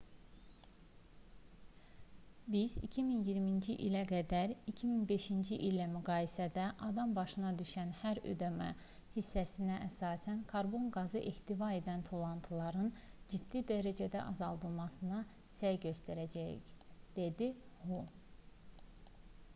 biz 2020-ci ilə qədər 2005-ci illə müqayisədə adam başına düşən hər üdm hissəsinə əsasən karbon qazı ehtiva edən tullantıların ciddi dərəcədə azaldılmasına səy göstərəcəyik dedi hu